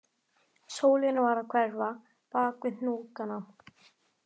Sólin var að hverfa bak við hnúkana